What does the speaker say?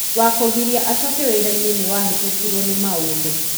wa kũgiria acooke wira-inĩ nĩ wahĩtũkirio nĩ maũndũ.